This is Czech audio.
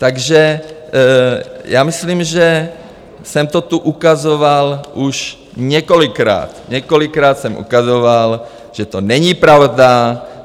Takže já myslím, že jsem to tu ukazoval už několikrát, několikrát jsem ukazoval, že to není pravda.